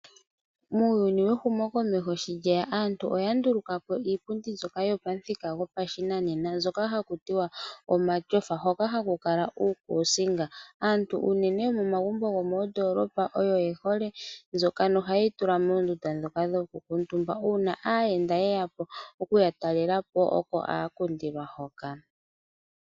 Muuyuni wehumo komeho sho lyeya aantu oyanduluka po iipundi mbyoka yopamuthika gopashinanena mbyoka hakuti omatyofa hoka hakukala uukuusinga. Aantu uunene yomomagumbo gomoondoolopa oyo yehole mbyoka na ohayeyi tula moondunda dhoka dhokukuutumba, uuna aayenda yeya po okuyatalela po oko haya kundilwa hoka.